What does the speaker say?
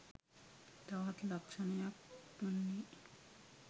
තවත් ලක්ෂණයක් වන්නේ